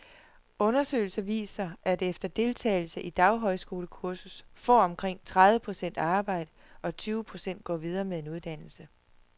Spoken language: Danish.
Undersøgelser viser, at efter deltagelse i et daghøjskolekursus får omkring tredive procent arbejde, og tyve procent går videre med en uddannelse.